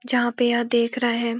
जहाँ पे यह देख रहे हैं।